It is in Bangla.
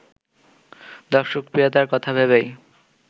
দর্শকপ্রিয়তার কথা ভেবেই